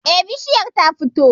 Eh, bishiyar ta fito